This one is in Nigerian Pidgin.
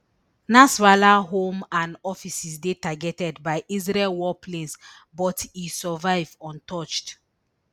nasrallah home and offices dey targeted by israel warplanes but e survive untouched